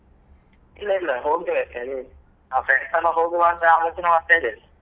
ಇಲ್ಲ ಇಲ್ಲ ಹೋಗ್ಲಿಲ್ಲ ನಾವ್ friends ಎಲ್ಲ ಹೋಗುವ ಅಂತ ಆಲೋಚನೆ ಮಾಡ್ತಾ ಇದ್ದೇವೆ.